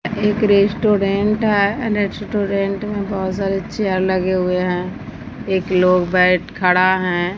एक रेस्टोरेंट है रेस्टोरेंट में बहोत सारे चेयर लगे हुए हैं एक लोग बैठ खड़ा हैं।